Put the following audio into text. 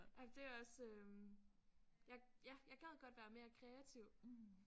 Ej men det også øh jeg ja jeg gad godt være mere kreativ